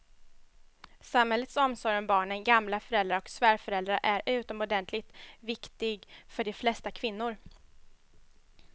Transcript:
Samhällets omsorg om barnen, gamla föräldrar och svärföräldrar är utomordentligt viktig för de flesta kvinnor.